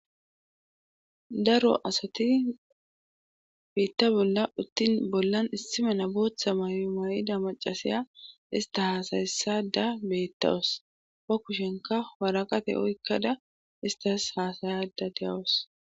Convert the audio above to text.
Daro asati biitta bolla uttin bollan issimena booththa maymayida macasiya ista hasayessada beettawus pa kushenka waraqate oykkada istas haasayada deyawus.